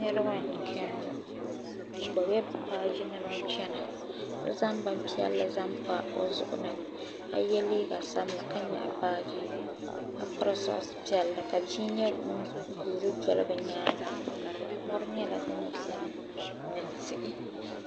Niriba n cheni ŋɔ bɛ gbibi la bɛ baaji nima n chena so zaŋ bin piɛlli zaŋ pa o zuɣu ni ka ye liiga sabinli ka nyaɣi baaji ka piri soɣasi piɛlli ka bia nyɛ ŋun guuri doli bɛ nyaanga mori nyɛla din biɛni ni tihi.